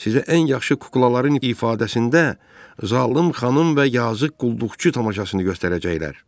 Sizə ən yaxşı kuklaların ifadəsində zalım xanım və yazıq qulluqçu tamaşasını göstərəcəklər.